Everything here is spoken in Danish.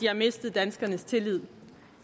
har mistet danskernes tillid